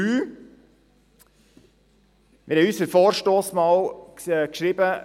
Wir haben in unserem Vorstoss einmal geschrieben: